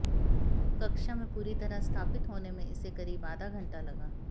कक्षा में पूरी तरह स्थापित होने में इसे करीब आधा घंटा लगा